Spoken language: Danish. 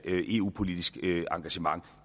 eu politisk engagement